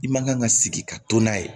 I man kan ka sigi ka to n'a ye